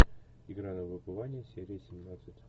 игра на выбывание серия семнадцать